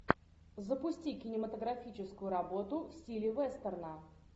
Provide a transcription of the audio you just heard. запусти кинематографическую работу в стиле вестерна